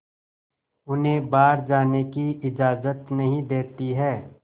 उन्हें बाहर जाने की इजाज़त नहीं देती है